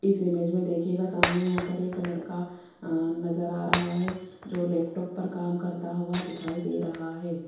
इस इमेज में देखिएगा सामने यहां पर एक लड़का अह नजर आ रहा है जो लैपटॉप पर काम करता हुआ दिखाई दे रहा है।